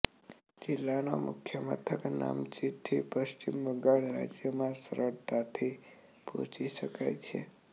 જિલ્લાના મુખ્ય મથક નામચીથી પશ્ચિમ બંગાળ રાજ્યમાં સરળતાથી પહોંચી શકાય છે